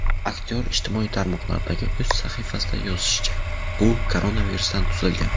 Aktyor ijtimoiy tarmoqlardagi o‘z sahifasida yozishicha , u koronavirusdan tuzalgan.